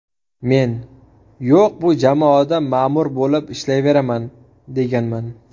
Men ‘yo‘q, bu jamoada ma’mur bo‘lib ishlayveraman’, deganman.